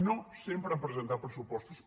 no sempre han pre·sentat pressupostos